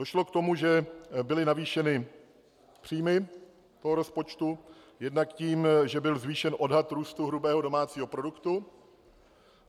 Došlo k tomu, že byly navýšeny příjmy toho rozpočtu - jednak tím, že byl zvýšen odhad růstu hrubého domácího produktu.